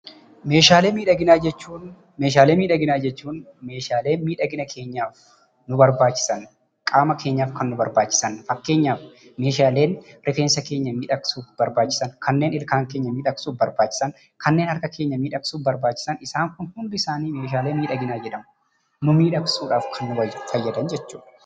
Meeshaalee miidhaginaa jechuun meeshaalee miidhagina keenyaaf nu barbaachisan qaama keenyaaf kan nu barbaachisan, fakkeenyaaf rigeensa keenya miidhagsuuf kan barbaachisan, kanneen ilkaan keenya miidhagsuuf nu barbaachisan, kanneen harka keenya miidhagsuuf nu barbaachisan. Isaan kun hundumtisaanii meeshaalee miidhaginaa jedhamu. Nu miidhagsuuf kan barbaachisan jechuudha.